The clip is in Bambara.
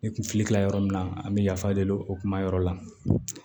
Ne kun filila yɔrɔ min na an bɛ yafa deli o kuma yɔrɔ la